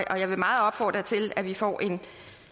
og jeg vil meget opfordre til at vi får en